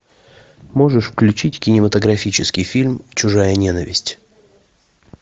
можешь включить кинематографический фильм чужая ненависть